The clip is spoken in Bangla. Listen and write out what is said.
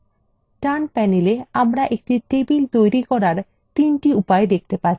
ডান panel আমরা একটি table তৈরি করার তিনটি উপায় দেখতে পাচ্ছি